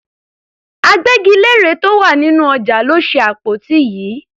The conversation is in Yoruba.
Agbẹ́gilére tó wà nínú ọjà ló ṣe àpótí yìí.